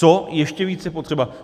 Co ještě víc je potřeba?